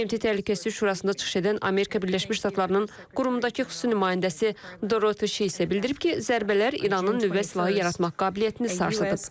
BMT Təhlükəsizlik Şurasında çıxış edən Amerika Birləşmiş Ştatlarının qurumdakı xüsusi nümayəndəsi Dorote Şi isə bildirib ki, zərbələr İranın nüvə silahı yaratmaq qabiliyyətini sarsıdıb.